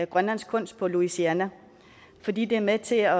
grønlandsk kunst på louisiana fordi det er med til at